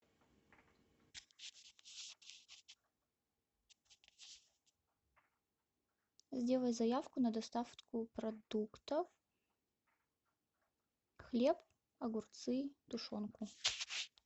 сделай заявку на доставку продуктов хлеб огурцы тушенку